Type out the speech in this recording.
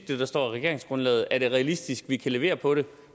det der står i regeringsgrundlaget er det realistisk at vi kan levere på det og